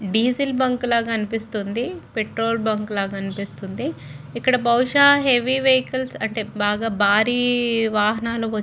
Diesel bunk లాగా అనిపిస్తుంది. Petrol bunk లాగా అనిపిస్తుంది. ఇక్కడ బహుశా హెవీ వెహికల్స్ అంటే భారీ వాహనాలు వచ్చి--